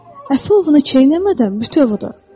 Əfi onu çeynəmədən bütöv udur.